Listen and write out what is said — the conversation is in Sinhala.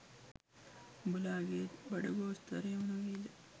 උබලාගේත් බඩගෝස්තරයම නොවෙයිද?